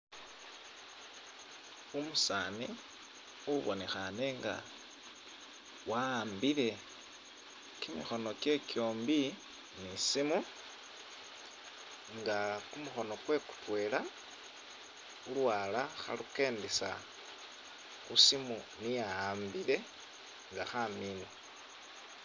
Umusaani ubonekhane nga wa'ambile kimikhono kye kyombi ni simu nga kumukhono kwe kutwela ulwala khalukendesa khu simu niyo a'ambile nga khamina